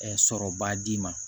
sɔrɔba d'i ma